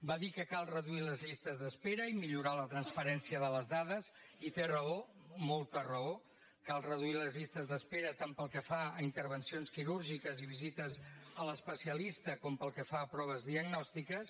va dir que cal reduir les llistes d’espera i millorar la transparència de les dades i té raó molta raó cal reduir les llistes d’espera tant pel que fa a intervencions quirúrgiques i visites a l’especialista com pel que fa a proves diagnòstiques